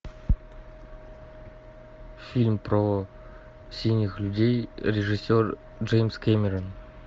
фильм про синих людей режиссер джеймс кэмерон